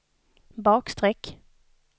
bakstreck